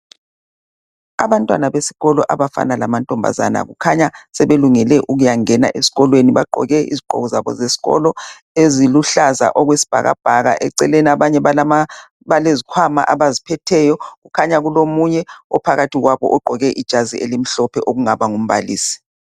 Abantwana besikolo abafana lamantombazana kukhanya sebelungele ukuyangena esikolweni bagqoke izigqoko zesikolo. ezikuhlaza okwesibhakabhaka eceleni abanye balezikhwama abaziphetheyo kukhanya kulomunye ophakathi kwabo ogqoke ijazi elimhlophe ongaba ngumbalisi.